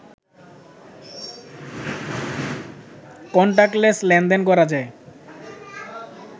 contactless লেনদেন করা যায়